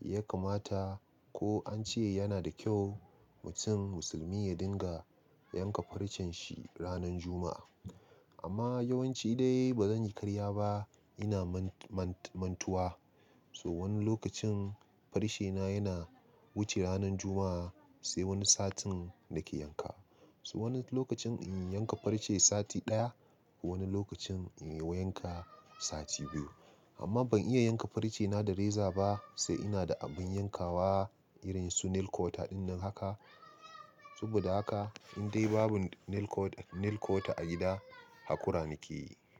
ya kamata ko an ce yana da kyau mutum musulmi ya dinga yanka farcen shi ranan Juma'a. Amma yawanci dai ba zan yi karya ba. Ina mantuwa, so wani lokacin farce na yana wuce ranan Juma'a sai wani satin nake yanka. So wani lokacin in yi yanka farce sati ɗaya, wani lokacin in yi yanka sati biyu. Amma ban iya yanka farce na da reza ba, sai ina da abin yankawa irin su nail kwota dinnan haka. Saboda haka indai babu nail kwota a gida, hakura nake yi.